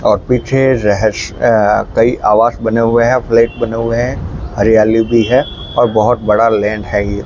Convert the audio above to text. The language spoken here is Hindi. और पीछे रहस्य अ कई आवास बने हुए हैं फ्लैट बने हुए हैं हरियाली भी है और बहोत बड़ा लैंड है ये।